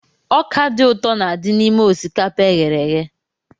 Ọkà dị ụtọ n'adi n'ime osikapa eghere eghe.